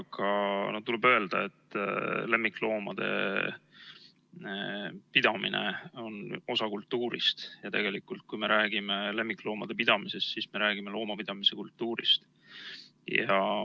Aga tuleb öelda, et lemmikloomade pidamine on osa kultuurist, ja tegelikult, kui me räägime lemmikloomade pidamisest, siis me räägime loomapidamise kultuurist.